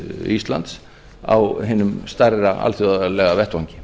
íslands á hinum stærra alþjóðlega vettvangi